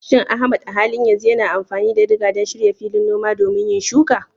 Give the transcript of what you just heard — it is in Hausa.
Shin Ahmad a halin yanzu yana amfani da diga don shirya filin noma domin yin shuka?